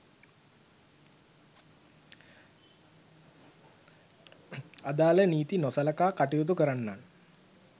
අදාල නීති නොසලකා කටයුතු කරන්නන්